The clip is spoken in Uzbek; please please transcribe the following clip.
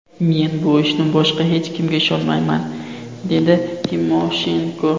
Men bu ishni boshqa hech kimga ishonmayman”, dedi Timoshenko.